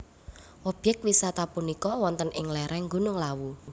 Obyek wisata punika wonten ing lereng Gunung Lawu